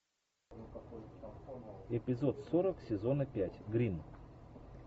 эпизод сорок сезона пять гримм